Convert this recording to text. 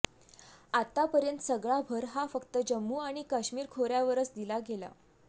आत्तापर्यंत सगळा भर हा फक्त जम्मू आणि काश्मीर खोऱ्यावरच दिला गेला